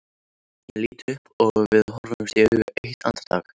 Ég lít upp og við horfumst í augu eitt andartak.